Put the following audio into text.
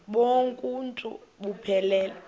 bonk uuntu buphelele